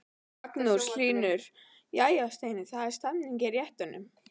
Magnús Hlynur: Jæja Steini, það er stemning í réttunum?